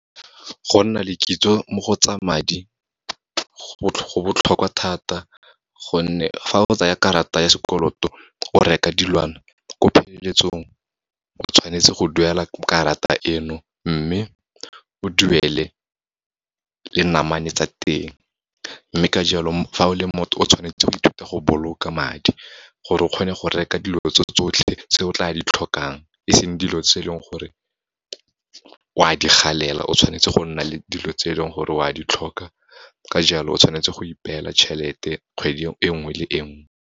Go nna le kitso mo go tsa madi, go botlhokwa thata gonne, fa o tsaya karata ya sekoloto o reka dilwana, ko pheleletsong o tshwanetse go duela karata eno, mme o duele le namane tsa teng. Mme ka jalo, fa o le motho, o tshwanetse go ithuta go boloka madi, gore o kgone go reka dilo tse tsotlhe tse o tla di tlhokang, e seng dilo tse e leng gore o a di galela, o tshwanetse go nna le dilo tse e leng gore o a di tlhoka, ka jalo, o tshwanetse go ipela tjhelete kgwedi e nngwe le e nngwe.